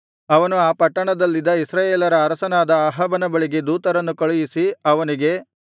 ಅವನು ಆ ಪಟ್ಟಣದಲ್ಲಿದ್ದ ಇಸ್ರಾಯೇಲರ ಅರಸನಾದ ಅಹಾಬನ ಬಳಿಗೆ ದೂತರನ್ನು ಕಳುಹಿಸಿ ಅವನಿಗೆ